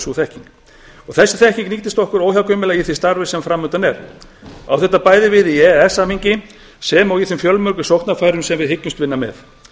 sú þekking og þessi þekking nýtist okkur óhjákvæmilega í því starfi sem fram undan er á þetta bæði við í e e s samningi sem og þeim fjölmörgu sóknarfærum sem við hyggjumst vinna með